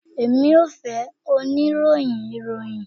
Emi yoo fẹ onirohin iroyin